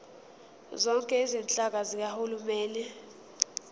zonke izinhlaka zikahulumeni